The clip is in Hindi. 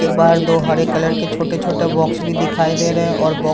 के बाहर दो हरे कलर के छोटे-छोटे बॉक्स भी दिखाई दे रहें हैं और बौ --